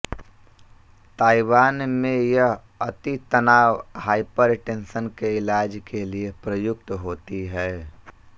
Taiwan में यह अतितनाव हाइपर टेंशन के इलाज के लिए प्रयुक्त होती है